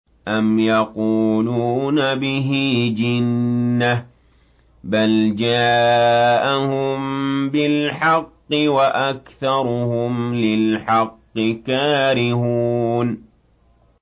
أَمْ يَقُولُونَ بِهِ جِنَّةٌ ۚ بَلْ جَاءَهُم بِالْحَقِّ وَأَكْثَرُهُمْ لِلْحَقِّ كَارِهُونَ